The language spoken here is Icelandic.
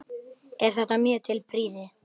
Er þetta mjög til prýði.